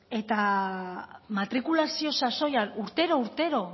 eta matrikulazio sasoian urtero urtero